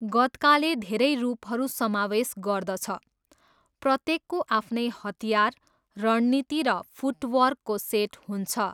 गत्काले धेरै रूपहरू समावेश गर्दछ, प्रत्येकको आफ्नै हतियार, रणनीति र फुटवर्कको सेट हुन्छ।